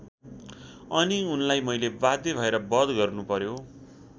अनि उनलाई मैले बाध्य भएर वध गर्नु पर्‍यो।